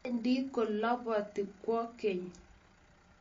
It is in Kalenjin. bendi koloboti kwekeny.